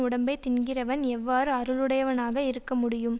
உடம்பை தின்கிறவன் எவ்வாறு அருளுடையவனாக இருக்க முடியும்